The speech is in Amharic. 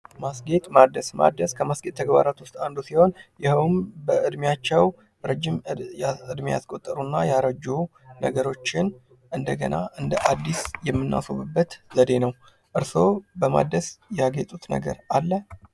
ማስጌጥ ማደስ ማደስ ከማስጌጥ ተግባራት ውስጥ አንዱ ሲሆን፤ ይኸውም በዕድሜያቸው ረጅም ያስቆጠሩና ያረጁ ነገሮችን እንደገና እንደ አዲስ የምናስውብበት ዘዴ ነው። እርሶ በማድረስ ያጌጡት ነገር አለ?